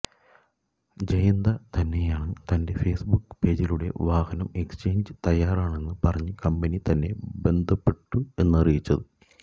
ജയന്ത തന്നെയാണ് തന്റെ ഫെയ്സ്ബുക്ക് പേജിലൂടെ വാഹനം എക്സ്ചേഞ്ചിന് തയാറാണെന്ന് പറഞ്ഞ് കമ്പനി തന്നെ ബന്ധപ്പെട്ടു എന്നറിയിച്ചത്